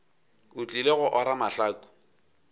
o tlile go ora mahlaku